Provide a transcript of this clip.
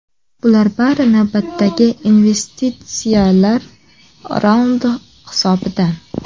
Bular bari navbatdagi investitsiyalar raundi hisobidan.